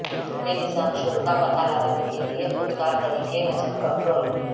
Bullet میں نظام شور کا پتہ لگانے کے لئے خود کار طریقے حجم کنٹرول